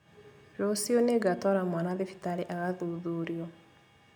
Rũciũ nĩngatwara mwana thibitarĩ agathuthurio